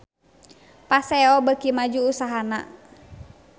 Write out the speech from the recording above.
Paseo beuki maju usahana